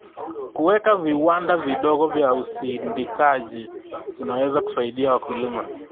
Kuweka viwanda vidogo vya usindikaji kunaweza kusaidia wakulima.